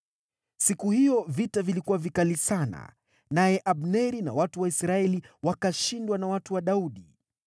Siku hiyo vita vilikuwa vikali sana, naye Abneri na watu wa Israeli wakashindwa na watu wa Daudi.